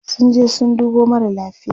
sun je sun dubo mara lafia